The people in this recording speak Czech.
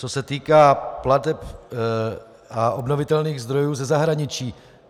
Co se týká plateb a obnovitelných zdrojů ze zahraničí.